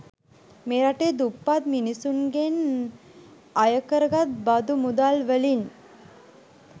මේ රටේ දුප්පත් මිනිස්සුන්ගෙන් අය කරගත් බදු මුදල්වලින්.